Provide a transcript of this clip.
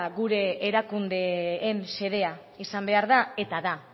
gure erakundeen xedea izan behar da eta da